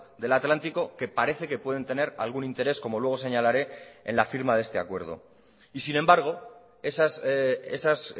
del atlántico que parece que pueden tener algún interés como luego señalaré en la firma de este acuerdo y sin embargo esas